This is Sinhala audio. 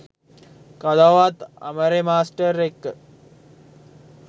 කවදාවත් අමරෙ මාස්ටර් එක්ක